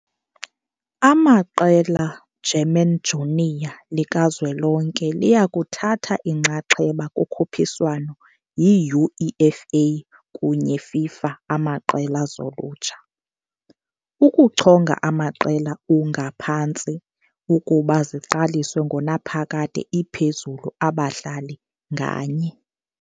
Amaqela German junior likazwelonke liya kuthatha inxaxheba kukhuphiswano yi-UEFA kunye FIFA amaqela zolutsha. Ukuchonga amaqela U, ngaphantsi, ukuba ziqaliswe ngonaphakade iphezulu abadlali nganye.